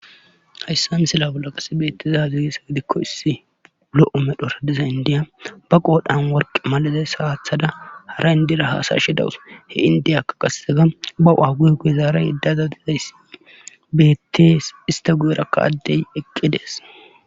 Hayssan sila bolla qasi beetteze hazirisa gidikko issi lo7o medhoradiza indiya ba qoodhan worqe malaze saathada hara indira haasashidawus he indiyaka qasetega ba waague guezaara iddazadizayssi beettees ista gu7erakka addey eqqi dees